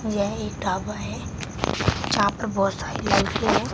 यह एक ढाबा है यहां पर बहुत सारी लाइटें हैं।